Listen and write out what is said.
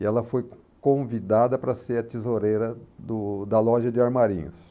E ela foi convidada para ser a tesoureira do da loja de armarinhos.